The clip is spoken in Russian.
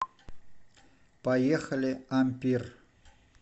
поехали ампир